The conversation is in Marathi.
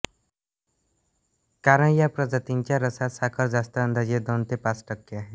कारण या प्रजातींच्या रसात साखर जास्त अंदाजे दोन ते पाच टक्के आहे